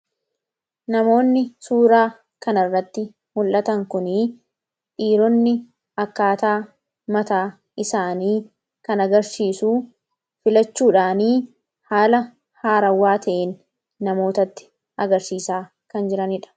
Namoonni suura kan irratti mul'atan kuni, dhiironni akkaataa mataa isaanii kan agarsiisu filachuudhaani, haala haarawaa ta'een namootatti agarsiisaa kan jiranidha.